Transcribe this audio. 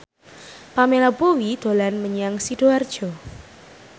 Pamela Bowie dolan menyang Sidoarjo